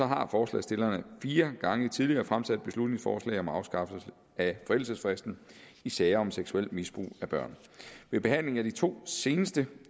har forslagsstillerne fire gange tidligere fremsat beslutningsforslag om afskaffelse af forældelsesfristen i sager om seksuelt misbrug af børn ved behandlingen af de to seneste